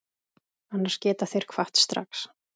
Annars geta þeir kvatt strax.